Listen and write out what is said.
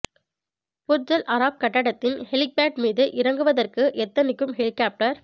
Burj Al Arab கட்டடத்தின் helipad மீது இறங்குவதற்கு எத்தனிக்கும் ஹெலிகாப்டர்